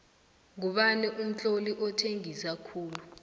ngubani umtloli othengisa khulu